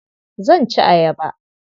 Zan ci ayaba.